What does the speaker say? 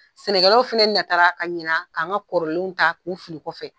Sɛnɛkɛlaw fana natara, ka ɲinɛ k'an ka kɔrɔlenw tak'u fili kɔfɛ.